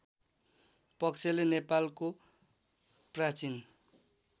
पक्षले नेपालको प्राचीन